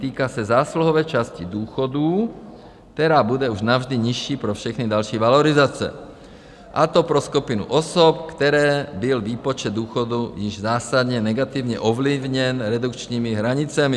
Týká se zásluhové části důchodů, která bude už navždy nižší pro všechny další valorizace, a to pro skupinu osob, které byl výpočet důchodu již zásadně negativně ovlivněn redukčními hranicemi.